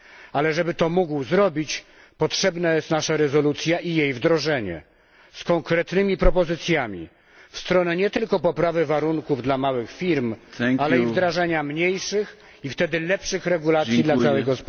Ale żeby to mógł zrobić, potrzebna jest nasza rezolucja i jej wdrożenie z konkretnymi propozycjami w stronę nie tylko poprawy warunków dla małych firm, ale i wdrażania mniejszych i wtedy lepszych regulacji dla całej gospodarki.